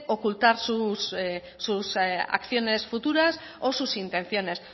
ocultar sus acciones futuras o sus intenciones